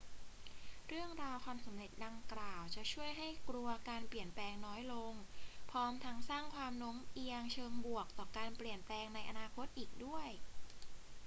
เรื่องราวความสำเร็จดังกล่าวจะช่วยให้กลัวการเปลี่ยนแปลงน้อยลง พร้อมทั้งสร้างความโน้มเอียงเชิงบวกต่อการเปลี่ยนแปลงในอนาคตอีกด้วย